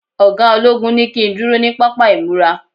oga ologun ni kin kúrò ni papa imura